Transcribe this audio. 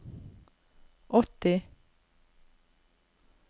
åtti